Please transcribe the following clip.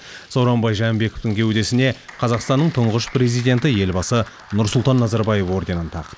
сооронбай жээнбековтің кеудесіне қазақстанның тұңғыш президенті елбасы нұрсұлтан назарбаев орденін тақты